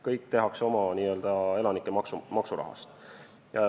Kõik tehakse oma elanike maksurahast.